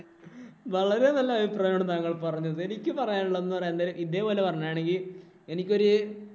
വളരെ നല്ല അഭിപ്രായമാണ് താങ്കള്‍ പറഞ്ഞത്. എനിക്ക് പറയാന്‍ ഉള്ളതെന്ന് പറയാൻ നേരം ഇതേപോലെ പറയുകയാണെങ്കിൽ എനിക്കൊരു